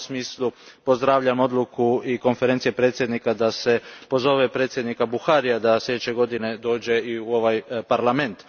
U tom smislu pozdravljam odluku Konferencije predsjednika da se pozove predsjednika Buharija da sljedeće godine dođe u ovaj Parlament.